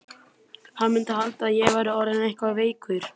Hann mundi halda að ég væri orðinn eitthvað veikur.